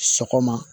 Sɔgɔma